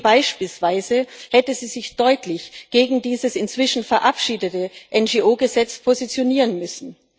Beispielsweise hätte sie sich eben deutlich gegen dieses inzwischen verabschiedete NGO Gesetz positionieren müssen.